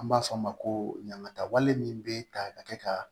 An b'a fɔ o ma ko ɲaŋata wale min be ta ka kɛ ka